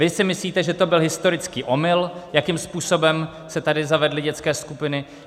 Vy si myslíte, že to byl historický omyl, jakým způsobem se tady zavedly dětské skupiny.